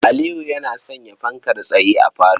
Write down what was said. Aliyu yana sanya fankar tsaye a falo.